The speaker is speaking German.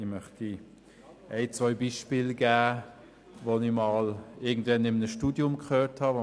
Ich möchte zwei Beispiel erwähnen, die ich in meinem Studium gehört habe: